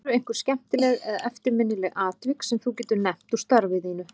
Eru einhver skemmtileg eða eftirminnileg atvik sem þú getur nefnt úr starfi þínu?